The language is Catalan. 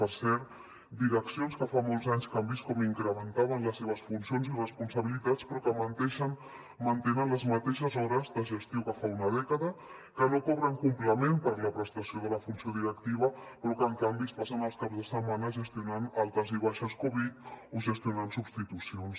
per cert direccions que fa molts anys que han vist com incrementaven les seves funcions i responsabilitats però que mantenen les mateixes hores de gestió que fa una dècada que no cobren complement per la prestació de la funció directiva però que en canvi es passen els caps de setmana gestionant altes i baixes covid o gestionant substitucions